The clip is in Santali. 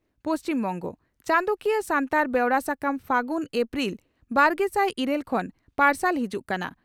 ᱯᱚᱥᱪᱤᱢ ᱵᱚᱝᱜᱚ ᱪᱟᱸᱫᱚᱠᱤᱭᱟᱹ ᱥᱟᱱᱛᱟᱲ ᱵᱮᱣᱨᱟ ᱥᱟᱠᱟᱢ 'ᱯᱷᱟᱹᱜᱩᱱ' ᱮᱯᱨᱤᱞ, ᱵᱟᱨᱜᱮᱥᱟᱭ ᱤᱨᱟᱹᱞ ᱠᱷᱚᱱ ᱯᱟᱨᱥᱟᱞ ᱦᱤᱡᱩᱜ ᱠᱟᱱᱟ ᱾